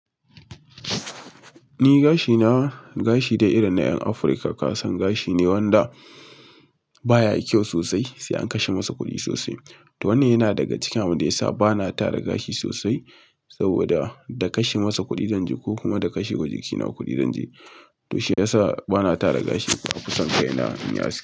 Ni gashi na, gashi dai irin na 'yan Afirka. Kasan gashi ne wanda baya yi kyau sosai, sai an kashe masa kuɗi sosai. To wannan yana daga cikin abin da yasa bana tara gashi sosai saboda da kashe masa kuɗi zan ji ko kuma da kashewa jikina kuɗi zan ji. To shi ya sa bana tara gashi, na fi son kai na in yi aski.